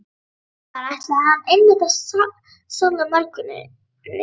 Þar ætlaði hann einmitt að salla mörkunum inn!